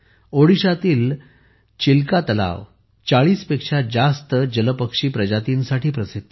ओडिशातील चिलिका तलाव 40 पेक्षा जास्त जलपक्षी प्रजातींसाठी प्रसिद्ध आहे